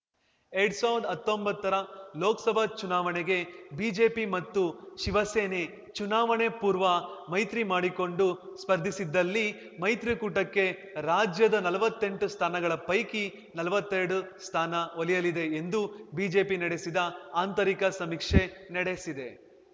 ಎರ್ಡ್ ಸಾವ್ರ್ದಾ ಹತ್ತೊಂಬತ್ತರ ಲೋಕ್ಸಭಾ ಚುನಾವಣೆಗೆ ಬಿಜೆಪಿ ಮತ್ತು ಶಿವಸೇನೆ ಚುನಾವಣೆ ಪೂರ್ವ ಮೈತ್ರಿಮಾಡಿಕೊಂಡು ಸ್ಪರ್ಧಿಸಿದಲ್ಲಿ ಮೈತ್ರಿಕೂಟಕ್ಕೆ ರಾಜ್ಯದ ನಲ್ವತ್ತೆಂಟು ಸ್ಥಾನಗಳ ಪೈಕಿ ನಲ್ವತ್ತೆರಡು ಸ್ಥಾನ ಒಲಿಯಲಿದೆ ಎಂದು ಬಿಜೆಪಿ ನಡೆಸಿದ ಆಂತರಿಕ ಸಮೀಕ್ಷೆ ನಡೆಸಿದೆ